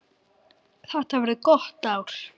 Þetta verður gott ár.